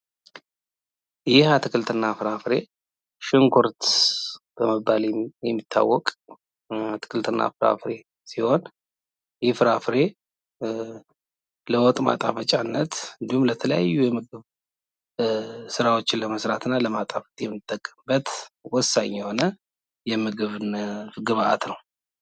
ይህ አትክልትና ፍራፍሬ ሽንኩርት በመባል የሚታወቅ አትክልትና ፍራፍሬ ሲሆን ይህ ፍራፍሬ ለምግብ ማጣፈጫነት እና ለሌሎችም የተለያዩ ምግቦችን ለማጣፈጥ የምንጠቀምበት ወሳኝ የሆነ የምግብ ግብአት ነው ።